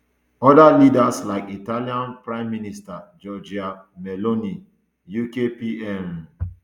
oda leaders like italian prime minister giorgia meloni uk pm um